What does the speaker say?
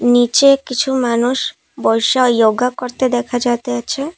নীচে কিছু মানুষ বইসা ইয়োগা করতে দেখা যাইতাছে।